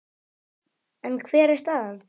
En hver er staðan?